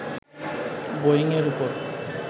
Boeing এর উপর